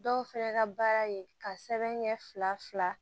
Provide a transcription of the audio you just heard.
Dɔw fɛnɛ ka baara ye ka sɛbɛn kɛ fila fila